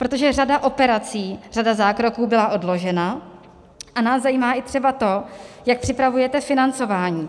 Protože řada operací, řada zákroků byla odložena a nás zajímá i třeba to, jak připravujete financování.